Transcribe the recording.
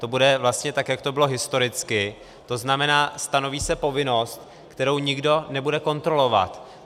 To bude vlastně tak, jak to bylo historicky, to znamená, stanoví se povinnost, kterou nikdo nebude kontrolovat.